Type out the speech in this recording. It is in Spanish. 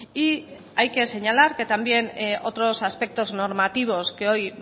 y hay que señalar que también otros aspectos normativos que hoy